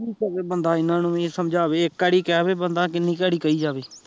ਕੀ ਕਵੇ ਬੰਦਾ ਇਹਨਾਂ ਨੂ ਵੀ ਸਮਜਾਵੇ ਇੱਕ ਵਾਰੀ ਕਹਿਵੇ ਬੰਦਾ ਕਿੰਨੀ ਵਾਰੀ ਕਹੀ ਜਾਵੇ